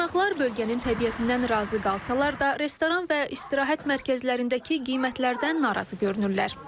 Qonaqlar bölgənin təbiətindən razı qalsalar da, restoran və istirahət mərkəzlərindəki qiymətlərdən narazı görünürlər.